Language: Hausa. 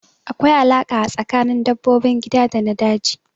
Akwai alaƙa a tsakanin dabbobin gida da na daji